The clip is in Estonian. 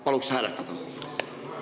Palun seda hääletada!